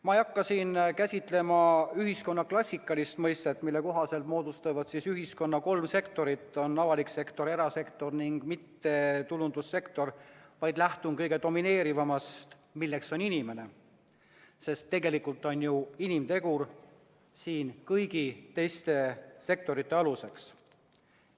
Ma ei hakka siin käsitlema ühiskonna klassikalist mõistet, mille kohaselt moodustavad ühiskonna kolm sektorit – avalik sektor, erasektor ja mittetulundussektor –, vaid lähtun kõige domineerivamast, milleks on inimene, sest tegelikult on ju inimtegur kõigi teiste sektorite aluseks.